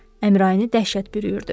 Əmrayini dəhşət bürüyürdü.